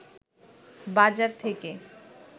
বাজার থেকে